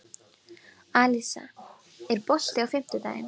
Alisa, er bolti á fimmtudaginn?